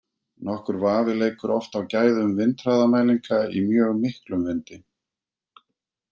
Nokkur vafi leikur oft á gæðum vindhraðamælinga í mjög miklum vindi.